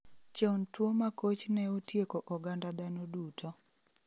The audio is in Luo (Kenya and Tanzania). Chon tuo makoch ne otieko oganda dhano duto